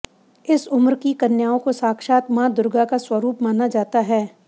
इस उम्र की कन्याओं को साक्षात मां दुर्गा का स्वरूप माना जाता है